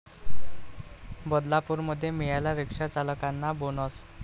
बदलापूरमध्ये मिळाला 'रिक्षाचालकांना' बोनस